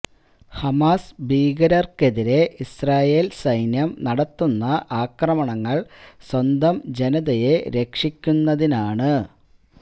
Hamas ഭീകരര്ക്കെതിരെ Israel സൈന്യം നടത്തുന്ന ആക്രമണങ്ങള് സ്വന്തം ജനതയെ രക്ഷിക്കുന്നതിനാണ്